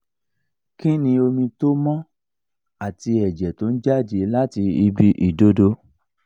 ki ni omi to mo ati eje to n jade lati ibi idodo?